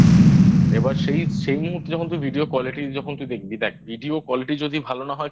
এবার সেই মুহূর্তে যখন তুই Video Quality যখন তুই দেখবি দেখ Video Quality যদি ভালো না হয়